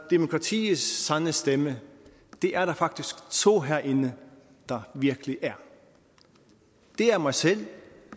demokratiets sande stemme er der faktisk to herinde der virkelig er det er mig selv